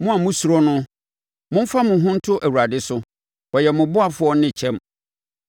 Mo a mosuro no, momfa mo ho nto Awurade so, ɔyɛ mo ɔboafoɔ ne kyɛm.